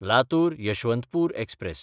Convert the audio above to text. लातूर–यशवंतपूर express